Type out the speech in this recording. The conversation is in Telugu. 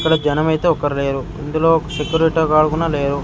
ఇక్కడ జనం ఐతే ఒక్కరు లేరు ఇందులో ఒక సెక్యూరిటీ గాన్ కుడా లేరు.